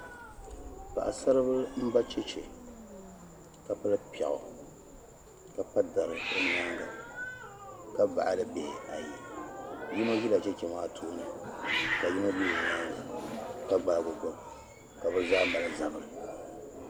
paɣisaribila m-ba cheche ka pili piɛɣu ka pa dari o nyaaŋga ka baɣili bihi ayi yino ʒila cheche maa tooni ka yino be o nyaaŋga ka gbaagi o gbuba ka bɛ zaa mali zabiri